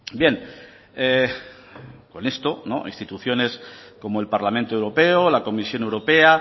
bien con esto instituciones como el parlamento europeo la comisión europea